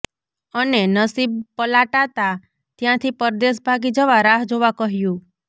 અને નસીબ પલાટાતા ત્યાંથી પરદેશ ભાગી જવા રાહ જોવા કહ્યું